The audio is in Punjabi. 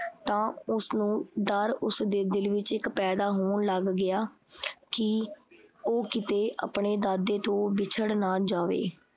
ਤਾਂ ਉਸਨੂੰ ਡਰ ਉਸਦੇ ਦਿਲ ਵਿੱਚ ਇੱਕ ਪੈਦਾ ਹੋਣ ਲੱਗ ਗਿਆ ਕੀ ਉਹ ਕੀਤੇ ਆਪਣੇ ਦਾਦੇ ਤੋਂ ਵਿਛੜ ਨਾ ਜਾਵੇ।